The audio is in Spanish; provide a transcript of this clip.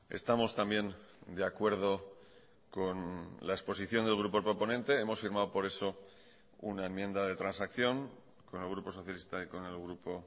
estamos también de acuerdo con la exposición del grupo proponente hemos firmado por eso una enmienda de transacción con el grupo socialista y con el grupo